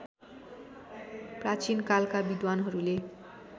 प्राचीन कालका विद्वानहरूले